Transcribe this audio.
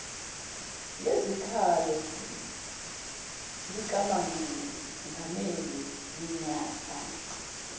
lezikhalo likamengameli minyaka